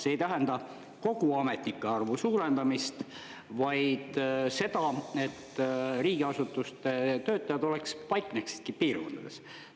See ei tähenda kogu ametnike arvu suurendamist, vaid seda, et riigiasutuste töötajad oleksid, paikneksidki piirkondades.